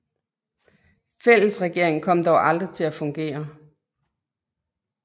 Fællesregeringen kom dog aldrig til at fungere